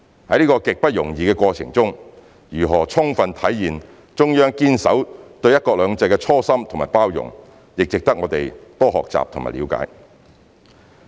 在這個極不容易的過程中，如何充分體現中央堅守對"一國兩制"的初心和包容，也值得我們多學習和了解。